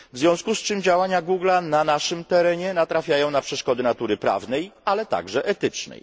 W związku z czym działania Google'a na naszym terenie natrafiają na przeszkody natury prawnej, ale także etycznej.